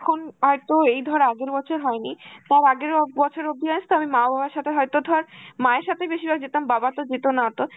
এখন এই তোর এই ধর আগের বছর হয়নি, তার আগের ও বছর অব্দি জানিস তো আমি মা-বাবার সাথে হয়তো ধর মায়ের সাথে বেশিরভাগ যেতাম, বাবা তো যেত না অত